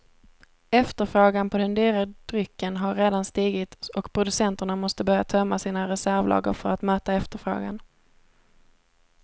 Efterfrågan på den dyra drycken har redan stigit och producenterna måste börja tömma sina reservlager för att möta efterfrågan.